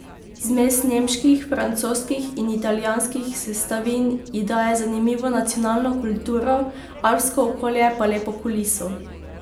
Zmes nemških, francoskih in italijanskih sestavin ji daje zanimivo nacionalno kulturo, alpsko okolje pa lepo kuliso.